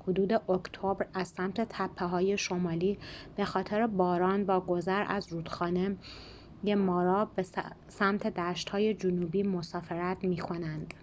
حدود اکتبر از سمت تپه‌های شمالی بخاطر باران با گذر از رودخانه مارا به سمت دشت‌های جنوبی مسافرت می‌کنند